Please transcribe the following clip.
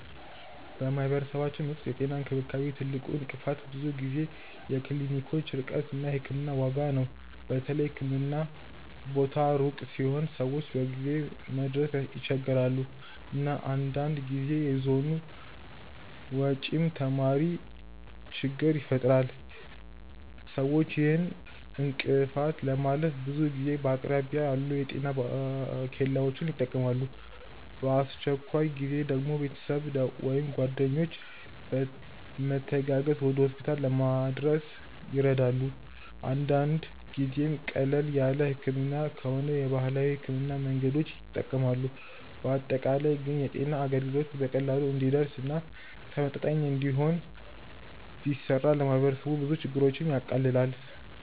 በማህበረሰባችን ውስጥ የጤና እንክብካቤ ትልቁ እንቅፋት ብዙ ጊዜ የክሊኒኮች ርቀት እና የሕክምና ዋጋ ነው። በተለይ የህክምና ቦታ ሩቅ ሲሆን ሰዎች በጊዜ መድረስ ይቸገራሉ፣ እና አንዳንድ ጊዜ የጉዞ ወጪም ተጨማሪ ችግኝ ይፈጥራል። ሰዎች ይህን እንቅፋት ለማለፍ ብዙ ጊዜ በአቅራቢያ ያሉ የጤና ኬላዎችን ይጠቀማሉ፣ በአስቸኳይ ጊዜ ደግሞ ቤተሰብ ወይም ጓደኞች በመተጋገዝ ወደ ሆስፒታል ለመድረስ ይረዳሉ። አንዳንድ ጊዜም ቀለል ያለ ህመም ከሆነ የባህላዊ ሕክምና መንገዶችን ይጠቀማሉ። በአጠቃላይ ግን የጤና አገልግሎት በቀላሉ እንዲደርስ እና ተመጣጣኝ እንዲሆን ቢሰራ ለማህበረሰቡ ብዙ ችግሮችን ያቃልላል።